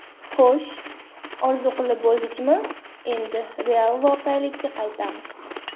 Xo‘sh, orzu qilib bo‘ldikmi, endi real voqelikka qaytamiz.